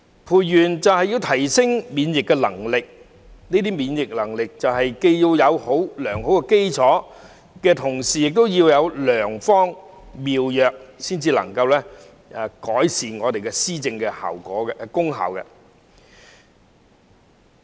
培元就是要提升免疫能力，這些免疫能力既要有良好基礎，同時亦要有良方妙藥才能夠改善我們的施政功效。